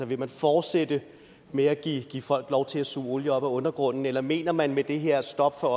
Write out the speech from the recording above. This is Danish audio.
vil man fortsætte med at give folk lov til at suge olie op af undergrunden eller mener man med det her stop for